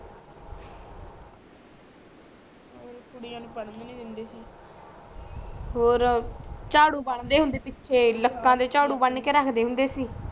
ਕੁੜੀਆ ਨੂੰ ਪੜ੍ਹਨ ਵੀ ਨੀ ਦਿੰਦੇ ਸੀ ਔਰ ਜਾੜੂ ਬਣਦੇ ਹੁੰਦੇ ਪਿਛੇ ਲਤਾ ਤੇ ਜਾੜੂ ਬਨਕੇ ਰੱਖਦੇ ਹੁੰਦੇ ਸੀ